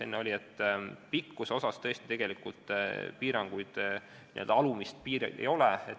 Pikkuse puhul tõesti n-ö alumist piiri ei ole.